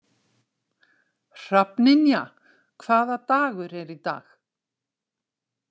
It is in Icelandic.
Hrafnynja, hvaða dagur er í dag?